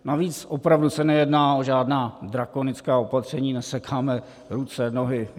Navíc opravdu se nejedná o žádná drakonická opatření, nesekáme ruce, nohy.